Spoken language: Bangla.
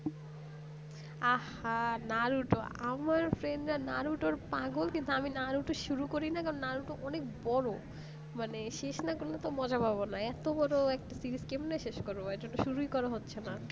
আহা naruto আমার friend রা naruto র পাগল কিন্তু আমি naruto র শুরু করিনি কারণ naruto অনেক বড় মানে শেষ না করলে মজা পাবে না এত বড় একটা জিনিষ কেমনে শেষ করবে আর এতে শুধুই করা হচ্ছে না